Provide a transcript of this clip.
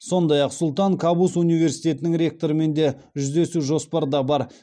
сондай ақ сұлтан кабус университетінің ректорымен де жүздесу жоспарда бар